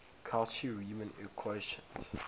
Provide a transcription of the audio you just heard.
cauchy riemann equations